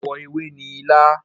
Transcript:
Àwọ ewe ni ilá.